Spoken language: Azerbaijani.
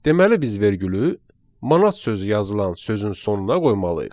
Deməli biz vergülü manat sözü yazılan sözün sonuna qoymalıyıq.